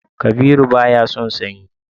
Kabiru baya son sanyi